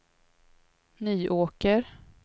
Nyåker